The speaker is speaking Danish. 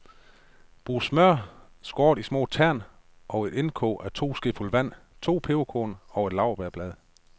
Brug smør skåret i små tern, og et indkog af to skefulde vand, to peberkorn, og et laurbærblad.